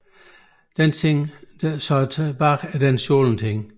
Den ting der så er tilbage er så den stjålet ting